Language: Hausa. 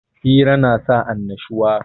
Hira na sa annashuwa